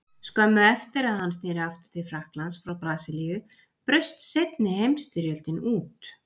Skömmu eftir að hann sneri aftur til Frakklands frá Brasilíu braust seinni heimsstyrjöldin út.